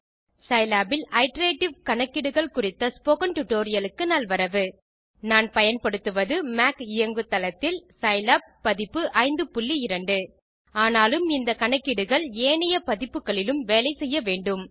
Scilab இல் iterative கணக்கீடுகள் குறித்த ஸ்போக்கன் டியூட்டோரியல் க்கு நல்வரவு நான் பயன்படுத்துவது மாக் இயங்கு தளத்தில் சிலாப் பதிப்பு 52 ஆனாலும் இந்த கணக்கீடுகள் ஏனைய பதிப்புகளிலும் வேலை செய்ய வேண்டும்